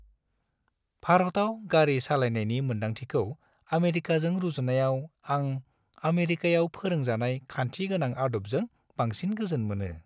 भारताव गारि सालायनायनि मोन्दांथिखौ आमेरिकाजों रुजुनायाव, आं आमेरिकायाव फोरोंजानाय खान्थि गोनां आदबजों बांसिन गोजोन मोनो।